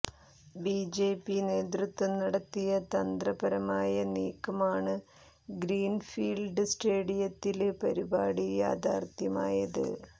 BJP നേതൃത്വം നടത്തിയ തന്ത്ര പരമായ നീക്കമാണ് ഗ്രീന്ഫീല്ഡ് സ്റ്റേഡിയത്തില് പരിപാടി യാഥാര്ത്ഥ്യമായത്